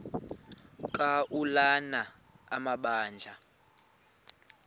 ka ulana amabandla